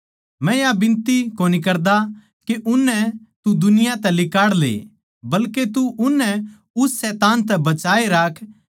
मै या बिनती कोनी करदा के उननै तू दुनिया तै लिकाड़ ले बल्के तू उननै उस शैतान तै बचाए राख